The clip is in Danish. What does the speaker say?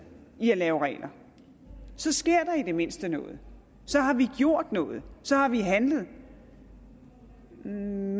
i at lave regler så sker der i det mindste noget så har vi gjort noget så har vi handlet men